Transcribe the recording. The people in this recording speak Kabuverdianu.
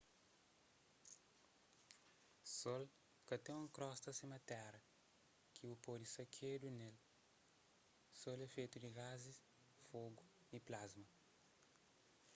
sol ka ten un krosta sima téra ki bu pode sakedu ne-l sol é fetu di gazis fogu y plasma